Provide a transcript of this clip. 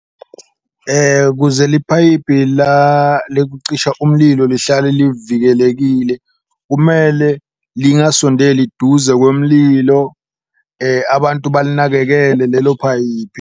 Kuze liphayiphi lekucisha umlilo lihlale livikelekile, kumele lingasondeli duze komlilo, abantu balinakekele lelo phayiphi.